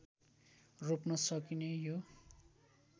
रोप्न सकिने यो